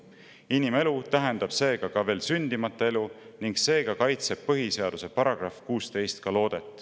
Inimelu tähendab seega ka veel sündimata elu ning seega kaitseb PS § 16 ka loodet.